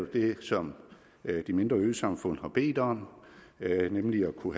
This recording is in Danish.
det som de mindre øsamfund har bedt om nemlig at kunne